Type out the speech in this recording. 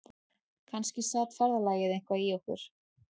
Kannski sat ferðalagið eitthvað í okkur